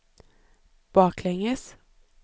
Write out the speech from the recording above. baklänges